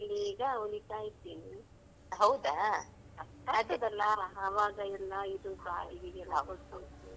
ಕಷ್ಟ ಆಗ್ತಾದಲ್ಲಾ ಆವಾಗ ಎಲ್ಲಾ ಇದು ಬಾಡಿಗೆಗೆಲ್ಲಾ ಕೊಟ್ಟು ಹ್ಮ್.